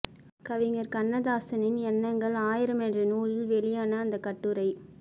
கவிஞர் கண்ணதாசனின் எண்ணங்கள் ஆயிரம் என்ற நூலில் வெளியான அந்த கட்டுரை